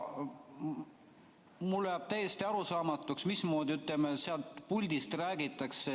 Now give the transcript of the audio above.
Mulle jääb täiesti arusaamatuks, mismoodi sealt puldist räägitakse.